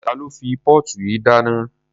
Ta ló fi póòtù yìí dáná?